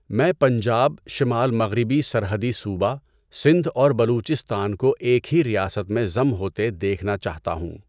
میں پنجاب، شمال مغربی سرحدی صوبہ، سندھ اور بلوچستان کو ایک ہی ریاست میں ضم ہوتے دیکھنا چاہتا ہوں۔